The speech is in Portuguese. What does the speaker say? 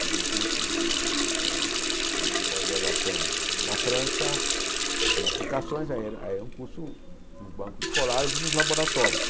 Fiz um curso eh de pós-graduação na França, em aplicações, aí era aí era um curso nos bancos escolares e nos laboratórios.